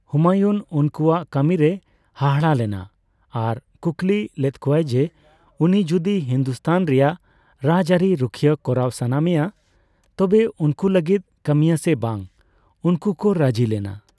ᱦᱩᱢᱟᱭᱩᱱ ᱩᱱᱠᱩᱣᱟᱜ ᱠᱟᱹᱢᱤ ᱨᱮᱭ ᱦᱟᱦᱟᱲᱟ ᱞᱮᱱᱟ ᱟᱨ ᱠᱩᱠᱞᱤ ᱞᱮᱫᱠᱚᱣᱟᱭ ᱡᱮ ᱩᱱᱤ ᱡᱚᱫᱤ ᱦᱤᱱᱫᱩᱥᱛᱷᱟᱱ ᱨᱮᱭᱟᱜ ᱨᱟᱡᱽᱟᱹᱨᱤ ᱨᱩᱠᱷᱤᱭᱟᱹ ᱠᱚᱨᱟᱣ ᱥᱟᱱᱟ ᱢᱮᱭᱟ ᱛᱚᱵᱮ ᱩᱱᱠᱩ ᱞᱟᱹᱜᱤᱫ ᱠᱟᱹᱢᱤᱭᱟ ᱥᱮ ᱵᱟᱝᱺ ᱩᱱᱠᱩ ᱠᱚ ᱨᱟᱹᱡᱤ ᱞᱮᱱᱟ ᱾